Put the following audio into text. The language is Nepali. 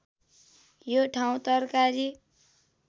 यो ठाउँ तरकारी